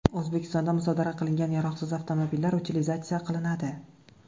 O‘zbekistonda musodara qilingan yaroqsiz avtomobillar utilizatsiya qilinadi .